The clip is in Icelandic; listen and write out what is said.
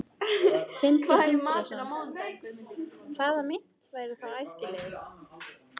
Sindri Sindrason: Hvaða mynt væri þá æskilegust?